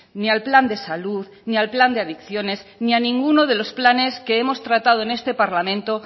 ni al plan de salud ni al plan de adicciones ni a ninguno de los planes que hemos tratado en este parlamento